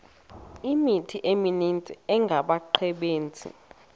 imithqtho emininzi engabaqbenzi